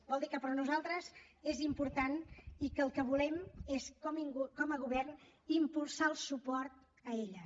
vol dir que per a nosaltres és important i que el que volem és com a govern impulsar el suport a elles